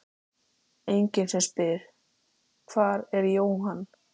Enginn sem spyr: Hvar er Jóhann?